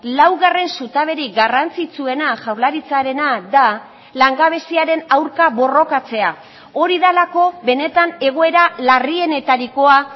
laugarren zutaberik garrantzitsuena jaurlaritzarena da langabeziaren aurka borrokatzea hori delako benetan egoera larrienetarikoa